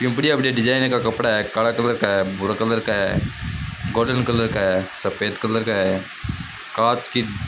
ये बढ़िया बढ़िया डिजाइन का कपडा है काला कलर का है भूरा कलर का है गोल्डन कलर का सफ़ेद कलर का है कांच की --